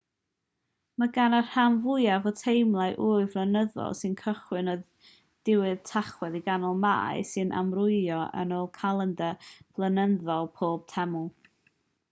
mae gan y rhan fwyaf o'r temlau ŵyl flynyddol sy'n cychwyn o ddiwedd tachwedd i ganol mai sy'n amrywio yn ôl calendr blynyddol pob teml